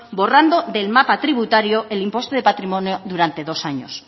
borrando del mapa tributario el impuesto de patrimonio durante dos años